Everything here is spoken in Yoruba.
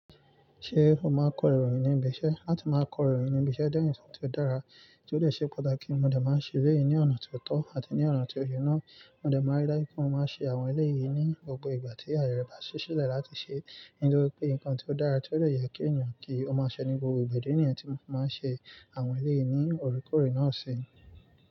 Ṣé o máa kọ ìròyìn ní ibi iṣẹ́? Látí máa kọ ìròyìn ní ibi iṣẹ́ jẹ́ ẹ̀yàn tí ó dára, tí ó lè ṣe pàtàkì, mo dẹ̀ máa ń ṣe lẹ́yìn ní ọ̀nà tó tọ́ àti ní ọ̀nà tí ó ṣe náà. Mo dẹ̀ máa rí dájú pé mo máa ń ṣe àwọn ẹlẹ́yìí ní gbogbo ìgbà tí ayẹ́rẹ̀ bá ṣíṣe láti ṣẹ. Nítorí pé nǹkan tí ó dára tí ó lè yẹ kí ènìyàn kí ó máa ṣẹ ní gbogbo ìgbà jẹ́ ní ènìyàn tí ó máa ń ṣe àwọn ẹlẹ́yìí ní orikórè náà ṣe.